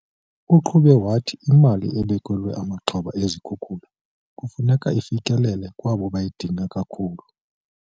Uqhube wathi imali ebekelwe amaxhoba ezikhukula kufuneka ifikelele kwabo bayidinga kakhulu.